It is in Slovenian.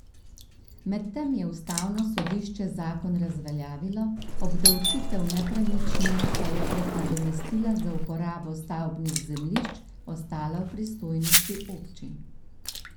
Medtem je ustavno sodišče zakon razveljavilo, obdavčitev nepremičnin pa je prek nadomestila za uporabo stavbnih zemljišč ostala v pristojnosti občin.